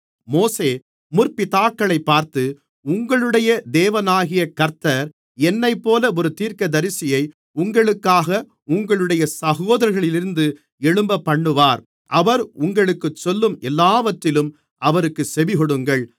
மோசே முற்பிதாக்களைப்பார்த்து உங்களுடைய தேவனாகிய கர்த்தர் என்னைப்போல ஒரு தீர்க்கதரிசியை உங்களுக்காக உங்களுடைய சகோதரர்களிலிருந்து எழும்பப்பண்ணுவார் அவர் உங்களுக்குச் சொல்லும் எல்லாவற்றிலும் அவருக்குச் செவிகொடுங்கள்